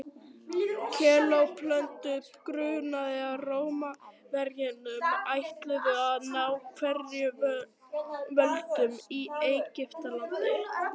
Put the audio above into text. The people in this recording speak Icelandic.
kleópötru grunaði að rómverjarnir ætluðu að ná enn frekari völdum í egyptalandi